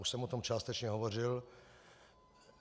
Už jsem o tom částečně hovořil.